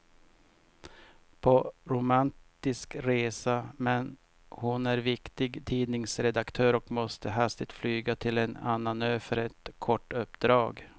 På romantisk resa, men hon är viktig tidningsredaktör och måste hastigt flyga till en annan ö för ett kort uppdrag.